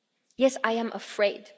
Yes, I am afraid.